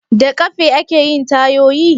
Da ƙafe ake yin tayoyi?